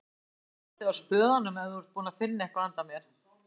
Þú hefur aldeilis haldið á spöðunum ef þú ert búinn að finna eitthvað handa mér